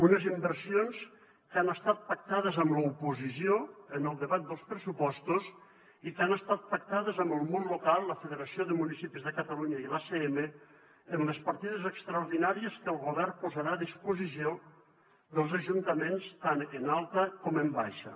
unes inversions que han estat pactades amb l’oposició en el debat dels pressupostos i que han estat pactades amb el món local la federació de municipis de catalunya i l’acm en les partides extraordinàries que el govern posarà a disposició dels ajuntaments tant en alta com en baixa